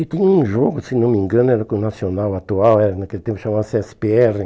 E tinha um jogo, se não me engano, era com o Nacional atual, era naquele tempo chamava-se esse pê erre.